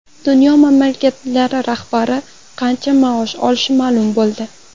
Dunyo mamlakatlari rahbarlari qancha maosh olishi ma’lum bo‘ldi.